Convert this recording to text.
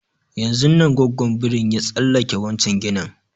Yanzun nan gwaggon birin ya tsallake wancan ginin